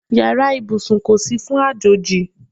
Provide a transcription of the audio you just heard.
Yàrá ìbùsùn kò sí fún àjòjì.